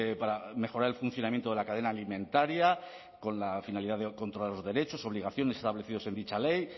para mejorar el funcionamiento de la cadena alimentaria con la finalidad de controlar los derechos y obligaciones establecidos en dicha ley